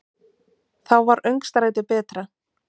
Þá var öngstrætið betra.